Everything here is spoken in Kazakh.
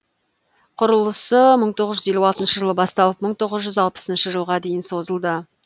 құрылысы мың тоғыз жүз елу алтыншы жылы басталып мың тоғыз жүз алпысыншы жылға дейін созылды